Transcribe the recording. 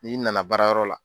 N'i nana baarayɔrɔ la